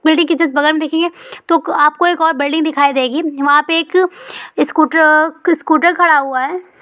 Building के just बगल में देखिए तो आपको एक और बुल्डिंग एक खङि दिखाई वहइहापॆ एक पे एक स्कूटर खडा हुआ है।